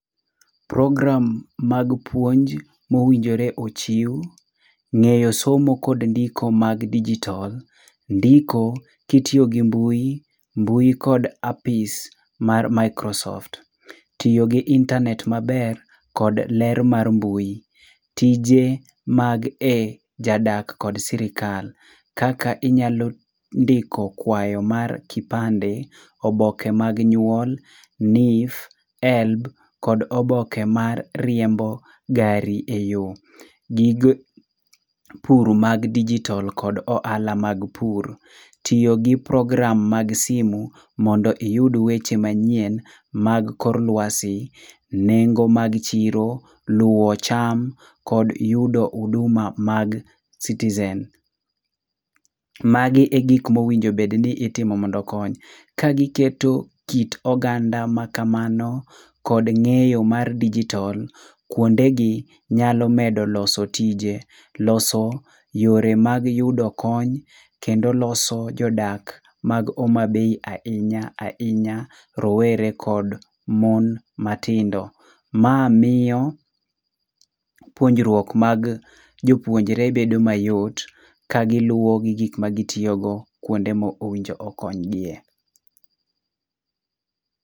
Program mag puonj mowinjore ochiw, ng'eyo somo kod ndiko mag digital, ndiko kitiyo gi mbui, mbui kod apis mar microsoft, tiyo gi internet maber kod ler mar mbui. Tije mag e jadak kod sirikal. Kaka inyalo ndiko kwayo mar kipande. Oboke mag nyuol, NHIF, helb kod oboke mar riembo gari e yo. Gige pur mag digital]cs] kod ohala mag pur. Tiyo gi program mag simu mondo iyud weche manyien mag kor lwasi. Nengo mag chiro. Luwo cham kod yudo huduma mag citizen. Magi e gik mowinjo bed ni itimo mondo okony. Kagiketo kit oganda makamano kod ng'eyo mar digital, kwondegi nyalo medo loso tije. Loso yore mag yudo kony, kendo loso jodak mag Homabay ahinya ahinya. Rowere kod mon matindo. Ma miyo puonjruok mag jopuonjre bedo mayot kagiluwo gi gik magitiyogo kwonde mowinjo okony giye.